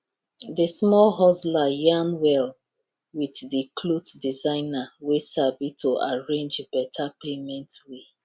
the small hustler yarn well with the cloth designer wey sabi to arrange beta payment way